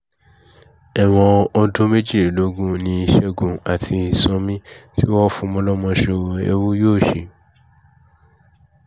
ẹ̀wọ̀n ọdún méjìlélógún ni ṣẹ́gun àti sànmi tí wọ́n ń fọmọ ọlọ́mọ sọ́wọ́ ẹrú yóò ṣe